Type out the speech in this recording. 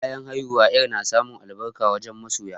Bayan haihuwa, yarp na samun albarka wajen masoya.